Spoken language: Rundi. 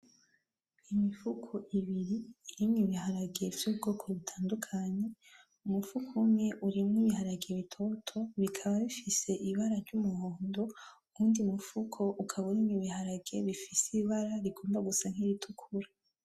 Imifuko ibiri irimwo ibiharage vy'ubwoko butandukanye, umufuko umwe urimwo ibiharage bitoto bikaba bifise ibara ry'umuhondo, uwundi mufuko ukaba urimwo ibiharage bifise ibara rikunda gusa nk'iritukura.